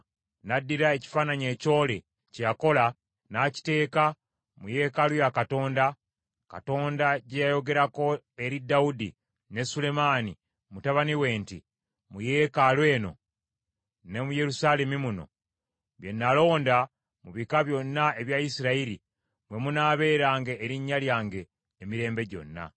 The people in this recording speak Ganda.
N’addira ekifaananyi ekyole kye yakola, n’akiteeka mu yeekaalu ya Katonda, Katonda gye yayogerako eri Dawudi ne Sulemaani mutabani we nti, “Mu yeekaalu eno ne mu Yerusaalemi muno, bye nalonda mu bika byonna ebya Isirayiri, mwe munaabeeranga Erinnya lyange emirembe gyonna.